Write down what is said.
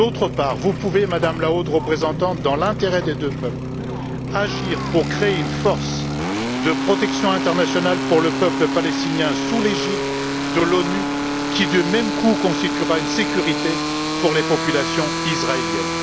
Par ailleurs, vous pouvez, Madame la Haute Représentante, dans l'intérêt des deux peuples, agir pour créer une force de protection internationale pour le peuple palestinien, sous l'égide de l'ONU, qui du même coup constituera une sécurité pour les populations israéliennes.